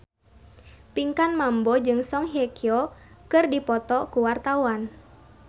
Pinkan Mambo jeung Song Hye Kyo keur dipoto ku wartawan